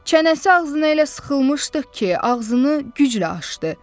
Çənəsi ağzına elə sıxılmışdı ki, ağzını güclə açdı.